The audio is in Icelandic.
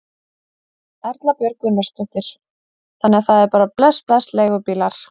Erla Björg Gunnarsdóttir: Þannig að það er bara bless bless leigubílar?